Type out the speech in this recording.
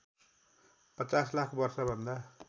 ५० लाख वर्षभन्दा